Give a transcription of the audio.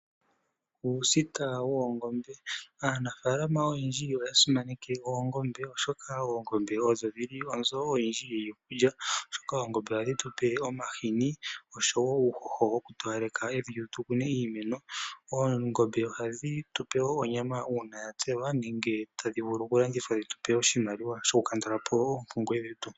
Aaniimuna oyendji moshilongo ohaya munu oongombe. Oongombe ohadhi gandja omahini osho wo onyama ngele ya tselwa. Aanimuna ohaya vulu okulanditha onyama nenge omahini opo ya mone iimaliwa, nenge ya lye naanegumbo. Oongombe ohadhi gandja wo uuhoho kiimeno, opo yi koke nawa.